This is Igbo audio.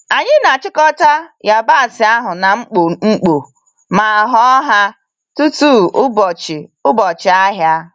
Anyi n'achịkọta yabasị ahụ n'ikpo ikpo ma họ ha tutu ụbọchị ụbọchị ahịa.